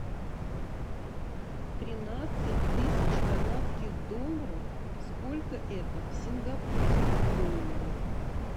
тринадцать тысяч канадских долларов сколько это в сингапурских долларах